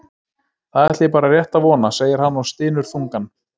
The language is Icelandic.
Það ætla ég bara rétt að vona, segir hann og stynur þungan.